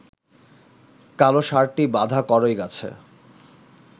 কালো ষাঁড়টি বাঁধা কড়ইগাছে